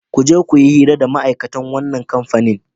Ku je ku yi hira da ma'aikatan wannan kamfani.